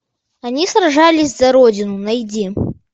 они сражались за родину найди